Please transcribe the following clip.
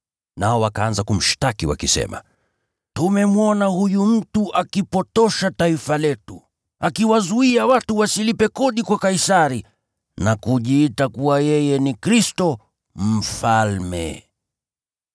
Nao wakaanza kumshtaki wakisema: “Tumemwona huyu mtu akipotosha taifa letu, akiwazuia watu wasilipe kodi kwa Kaisari na kujiita kuwa yeye ni Kristo, mfalme.”